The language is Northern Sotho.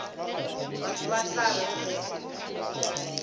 batho ba tla reng ge